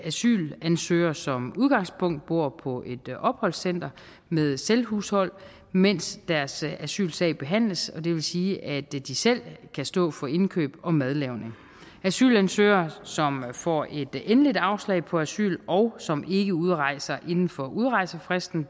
asylansøgere som udgangspunkt bor på et opholdscenter med selvhushold mens deres asylsag behandles og det vil sige at de de selv kan stå for indkøb og madlavning asylansøgere som får et endeligt afslag på asyl og som ikke udrejser inden for udrejsefristen